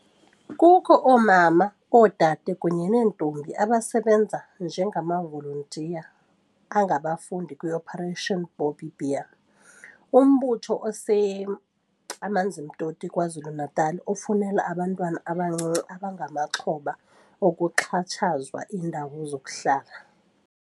Kukho oomama, oodade kunye neentombi abasebenza njengamavolontiya angabafundi kwi-Operation Bobbi Bear, umbutho ose-Amanzimtoti KwaZulu-Natal ofunela abantwana abancinci abangamaxhoba okuxhatshazwa iindawo zokuhlala.